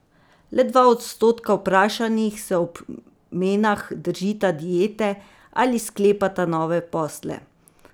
Le dva odstotka vprašanih se ob menah držita diete ali sklepata nove posle.